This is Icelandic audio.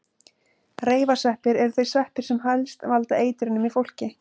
Reifasveppir eru þeir sveppir sem helst valda eitrunum í fólki.